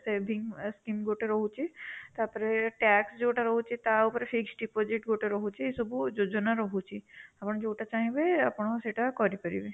saving scheme ଗୋଟେ ରହୁଛି, ତା ପରେ tax ଯୋଉଟା ରହୁଛି ତା' ଉପରେ fix deposit ଗୋଟେ ରହୁଛି, ଏ ସବୁ ଯୋଜନା ରହୁଛି, ଆପଣ ଯୋଉଟା ଚାହିଁବେ ଆପଣ ସେଇଟା କରି ପାରିବେ